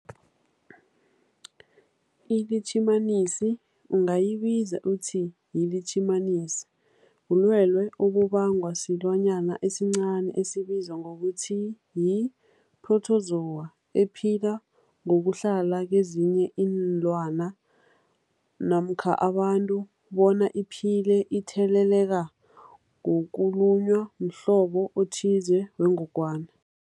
iLitjhimanisi ungayibiza uthiyilitjhimanisi, bulwelwe obubangwa silwanyana esincani esibizwa ngokuthiyi-phrotozowa ephila ngokuhlala kezinye iinlwana namkha abantu bona iphile itheleleka ngokulunywa mhlobo othize wengogwana.